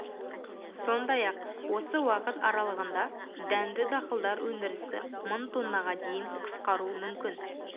сондай-ақ осы уақыт аралығында дәнді дақылдар өндірісі мың тоннаға дейін қысқару мүмкін